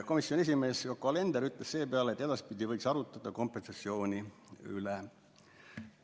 Komisjoni esimees Yoko Alender ütles seepeale, et edaspidi võiks arutada kompensatsiooni üle.